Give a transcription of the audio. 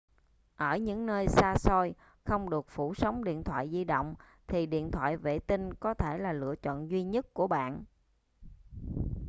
ở những nơi xa xôi không được phủ sóng điện thoại di động thì điện thoại vệ tinh có thể là chọn lựa duy nhất của bạn